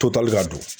Totali ka don